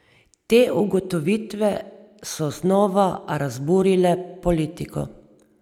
Te ugotovitve so znova razburile politiko.